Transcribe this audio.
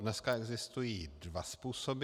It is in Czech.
Dneska existují dva způsoby.